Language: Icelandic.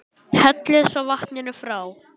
Hellið svo vatninu frá.